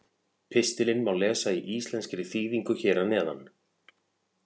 Pistilinn má lesa í íslenskri þýðingu hér að neðan.